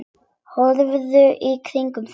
Horfðu í kringum þig, maður.